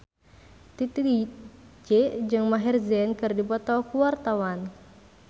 Titi DJ jeung Maher Zein keur dipoto ku wartawan